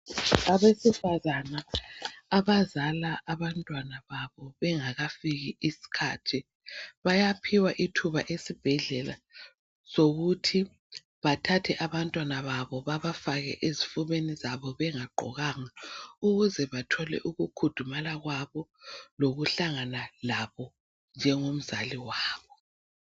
Abesifazana abazala abantwana babo bengakafiki isikhathi, bayaphiwa ithuba esibhedlela lokuthi bathathe abantwana babo baabafake ezifubeni zabo bengagqokanga ukuze bathole ukukhudumala kwabo lokuhlangana kwabo njengomzali wabo.